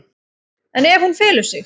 En ef hún felur sig?